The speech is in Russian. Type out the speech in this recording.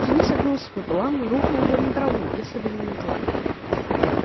флинт согнулся пополам и рухнул бы на траву если бы не метла